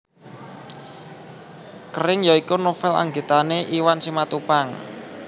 Kering ya iku novel anggitane Iwan Simatupang